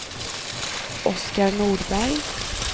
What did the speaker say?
Oscar Nordberg